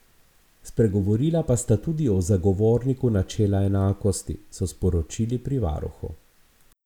Spregovorila pa sta tudi o zagovorniku načela enakosti, so sporočili pri varuhu.